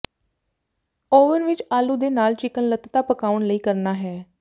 oven ਵਿਚ ਆਲੂ ਦੇ ਨਾਲ ਚਿਕਨ ਲਤ੍ਤਾ ਪਕਾਉਣ ਲਈ ਕਰਨਾ ਹੈ